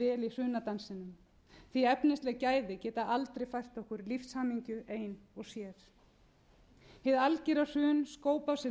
hrunadansinum því efnisleg gæði geta aldrei fært okkur lífshamingju ein og sér hið algera hrun skóp af sér